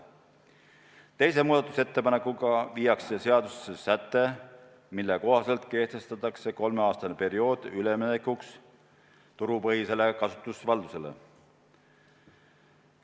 Teise muudatusettepanekuga lisatakse seadusesse säte, mille kohaselt kehtestatakse kolmeaastane periood üleminekuks turupõhisele kasutusvaldusele.